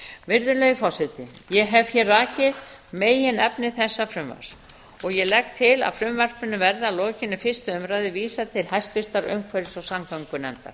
virðulegi forseti ég hef hér rakið meginefni þessa frumvarps og legg til að því verði að lokinni fyrstu umræðu vísað til háttvirtrar umhverfis og samgöngunefndar